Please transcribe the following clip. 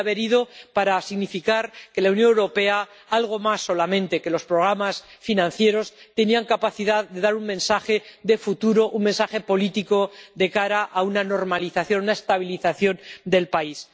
Quería haber ido para significar que la Unión Europea, algo más que solamente los programas financieros, tenía capacidad de dar un mensaje de futuro, un mensaje político de cara a la normalización, la estabilización del país.